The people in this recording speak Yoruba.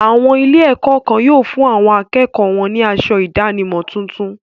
Àwọn ilé-ẹ̀kọ́ kan yóò fún àwọn akẹ́kọ̀ọ́ wọn ní asọ ìdánimọ̀ tuntun.